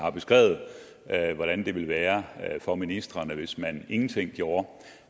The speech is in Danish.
at hvordan det ville være for ministrene hvis man ingenting gjorde